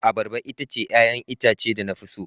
Abarba ita ce 'ya'yan itace da na fi so.